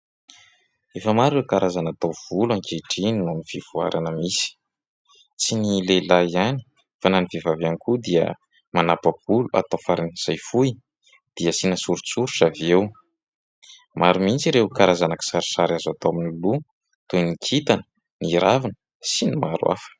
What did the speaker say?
Efa maro ireo karazana taovolo ankehitriny noho ny fivoarana misy. Tsy ny lehilahy ihany fa na ny vehivavy ihany koa dia manapa-bolo, atao faran'izay fohy dia asiana soritsoritra avy eo. Maro mihitsy ireo karazana kisarisary azo atao amin'ny loha toy ny kintana, ny ravina sy ny maro hafa.